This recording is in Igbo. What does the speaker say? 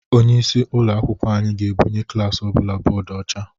Onyeisi ụlọ akwụkwọ anyị ga-ebunye klaasị ọbụla bọdụ ọcha.